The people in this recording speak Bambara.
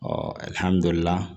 Ɔ